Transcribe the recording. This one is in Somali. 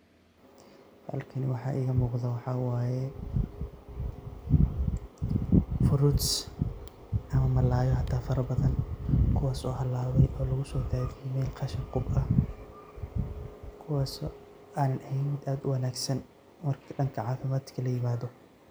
Halkani waxaa iiga muqdaa waxa waay fruits[]cs]ama malaay hata farabadan kuwaas oo halaabay oo lugu soo daadiyay meel khashin qub ah kuwaas oo aanan eheen mid aad uwanaagsan marka dhanka caafimaadka la yimaado.